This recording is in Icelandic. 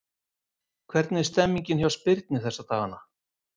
Hvernig er stemmningin hjá Spyrni þessa dagana?